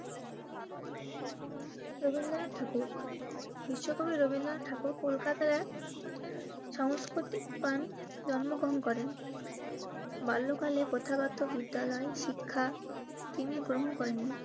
রবীন্দ্রনাথ ঠাকুর রবীন্দ্রনাথবিশ্বকবি ঠাকুর কলকাতার এক সংস্কৃতিক প্রাণ জন্ম গ্রহণ করেন. বাল্যকালে প্রথাগত বিদ্যালয়, শিক্ষা, তিনি গ্রহণ করেননি